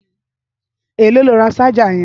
Éló ló rá ṣàjá yẹn?